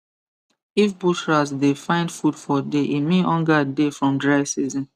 if bush rat dey find food for day e mean hunger dey from dry season